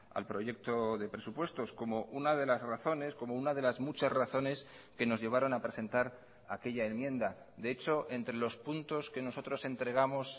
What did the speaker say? al proyecto de presupuestos como una de las razones como una de las muchas razones que nos llevaron a presentar aquella enmienda de hecho entre los puntos que nosotros entregamos